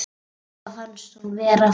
Afa fannst hún vera fín.